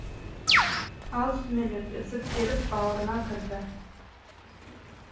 ал сүмелек зып беріп бауырына кірді